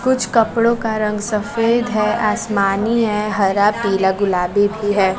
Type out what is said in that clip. कुछ कपड़ों का रंग सफेद है आसमानी है हरा पीला गुलाबी भी है।